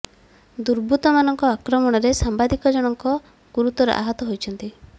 ଦୁର୍ବୁତ୍ତ ମାନଙ୍କ ଆକ୍ରମଣରେ ସାମ୍ବାଦିକ ଜଣଙ୍କ ଗୁରୁତର ଆହତ ହୋଇଛନ୍ତି